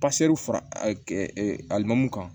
fara alimanw kan